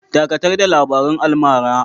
Dakatar da labarun almara!